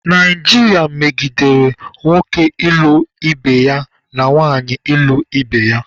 Naijiria medigere nwoke ịlụ ibe ya na nwanyị ịlụ ibe ya.